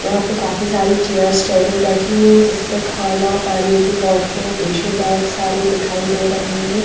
यहां पे काफी सारी चेयर्स टेबल रखी हैं जिस पर खाना पानी की बोतलें टिश्यू बैग सारे दिखाई दे रहे हैं।